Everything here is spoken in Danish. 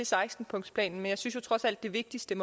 seksten punktsplan